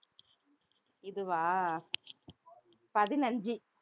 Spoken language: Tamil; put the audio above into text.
இதுவா பதினைந்து